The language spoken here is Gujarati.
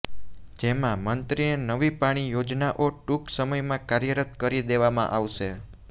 જેમાં મંત્રીને નવી પાણી યોજનાઓ ટુંક સમયમાં કાર્યરત કરી દેવામાં આવશે